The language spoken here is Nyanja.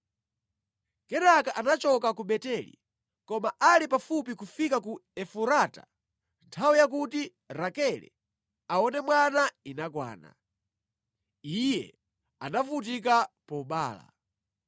Kenaka anachoka ku Beteli. Koma ali pafupi kufika ku Efurata nthawi yakuti Rakele aone mwana inakwana. Iye anavutika pobereka.